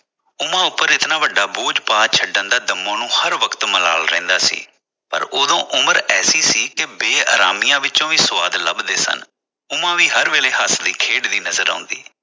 ਉਮਾ ਉਪਰ ਇਤਨਾ ਵੱਡਾ ਬੋਝ ਪਾ ਛੱਡਣ ਦਾ ਦੰਮੋ ਨੂੰ ਹਰ ਵਕਤ ਮਲਾਲ ਰਹਿੰਦਾ ਸੀ ਪਰ ਉਦੋਂ ਉਮਰ ਐਸੀ ਸੀ ਕਿ ਬੇਅਰਾਮੀਆ ਵਿਚੋਂ ਵੀ ਸੁਆਦ ਲੱਭਦੇ ਸਾਂ ਉਮਾ ਵੀ ਹਰ ਵੇਲੇ ਹੱਸਦੀ ਖੇਡਦੀ ਨਜਰ ਆਉਦੀ